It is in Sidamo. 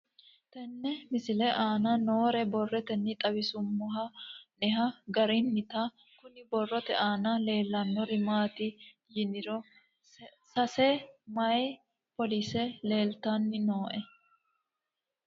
Tenne misile aana noore borroteni xawiseemohu aane noo gariniiti. Kunni borrote aana leelanori maati yiniro sase mayi polisee leeltanni nooe.